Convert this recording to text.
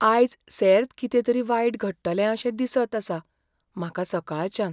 आयज सेर्त कितें तरी वायट घडटलें अशें दिसत आसा म्हाका सकाळच्यान.